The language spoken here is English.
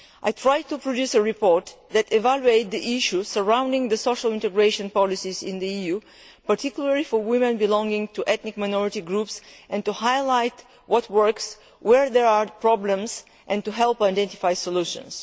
I tried to produce a report which evaluated the issues surrounding the social integration policies in the EU, particularly for women belonging to ethnic minority groups, and to highlight what works, where there are problems, and to help identify solutions.